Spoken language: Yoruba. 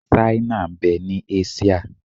Ṣáínà ń bẹ ní Áṣíà.